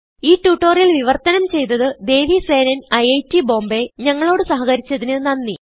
ഈ ട്യൂട്ടോറിയൽ വിവർത്തനം ചെയ്തത് ദേവി സേനൻIIT Bombayഞങ്ങളോട് സഹകരിച്ചതിന് നന്ദി